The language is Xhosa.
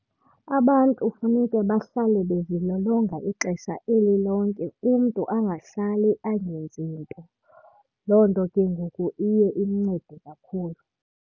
Abantu funeke bahlale bezilolonga ixesha eli lonke umntu angahlali angenzi nto. Loo nto ke ngoku iye imncede kakhulu.